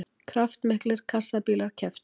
Kraftmiklir kassabílar kepptu